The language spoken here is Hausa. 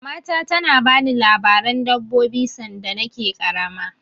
Mamata ta na bani labaren dabbobi sanda na ke ƙarama